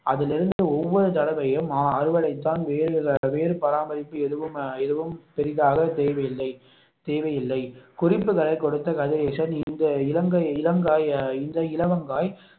அதில் இருந்து ஒவ்வொரு தடவையும் அறுவடை தான் வேறு வேறு பராமரிப்பு எதுவும் எதுவும் பெரிதாக தேவையில்லை தேவையில்லை குறிப்புகளை கொடுத்த கதிரேசன் இந்த இளம் காய்களை இந்த இலவங்காய்